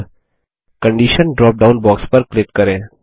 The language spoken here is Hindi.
अब कंडीशन ड्रॉप डाउन बॉक्स पर क्लिक करें